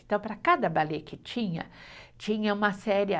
Então, para cada balé que tinha, tinha uma série.